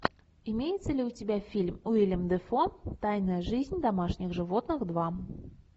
имеется ли у тебя фильм уиллем дефо тайная жизнь домашних животных два